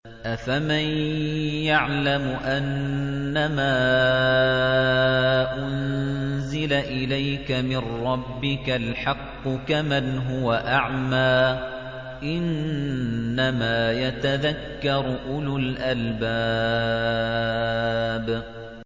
۞ أَفَمَن يَعْلَمُ أَنَّمَا أُنزِلَ إِلَيْكَ مِن رَّبِّكَ الْحَقُّ كَمَنْ هُوَ أَعْمَىٰ ۚ إِنَّمَا يَتَذَكَّرُ أُولُو الْأَلْبَابِ